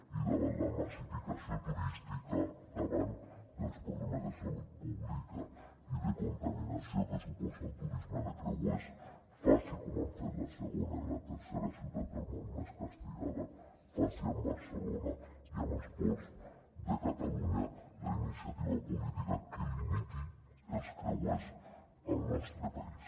i davant la massificació turística davant dels problemes de salut pública i de contaminació que suposa el turisme de creuers facin com han fet la segona i la tercera ciutats del món més castigades facin amb barcelona i amb els ports de catalunya la iniciativa política que limiti els creuers al nostre país